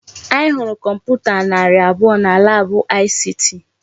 Anyị hụrụ kọmputa narị abụọ na laabụ ICT.